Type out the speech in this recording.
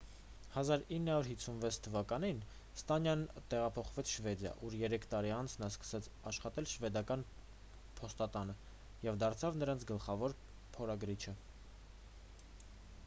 1956 թվականին ստանյան տեղափոխվեց շվեդիա ուր երեք տարի անց նա սկսեց աշխատել շվեդական փոստատանը և դարձավ նրանց գլխավոր փորագրիչը